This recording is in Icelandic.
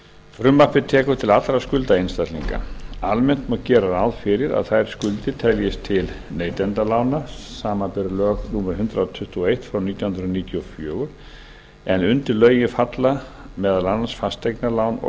frumvarpið tekur til allra skulda einstaklinga almennt má gera ráð fyrir að þær skuldir teljist til neytendalána samanber lög númer hundrað tuttugu og eitt nítján hundruð níutíu og fjögur en undir lögin falla meðal annars fasteignalán og